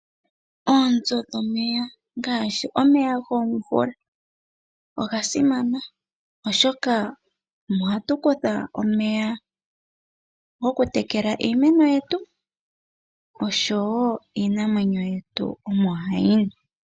Oonzo dhomeya ngaashi omeya gomvula oga simana oshoka omo hatu kutha omeya gokutekela iimeno yetu oshowoo iinamwenyo yetu omo hayi nu.